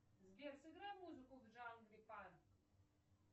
сбер сыграй музыку в жанре панк